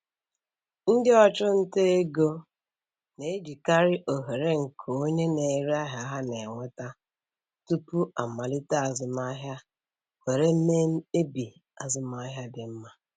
Ndị ọchụnta ego na-ejikarị ohere nke onye na-ere ahịa ha na-enweta tupu amalite azụmaahịa were mee mkpebi azụmaahịa dị mma.